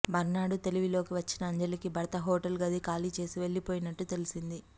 మర్నాడు తెలివిలోకి వచ్చిన అంజలికి భర్త హోటల్ గది ఖాళీచేసి వెళ్ళిపోయినట్టు తెలిసింది